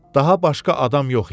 Daha başqa adam yox idi.